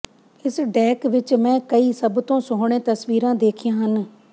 ਇਸ ਡੈਕ ਵਿਚ ਮੈਂ ਕਈ ਸਭ ਤੋਂ ਸੋਹਣੇ ਤਸਵੀਰਾਂ ਦੇਖੀਆਂ ਹਨ